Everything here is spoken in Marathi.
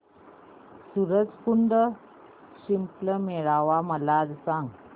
सूरज कुंड शिल्प मेळावा मला सांग